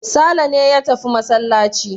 Sale ne ya tafi masallaci.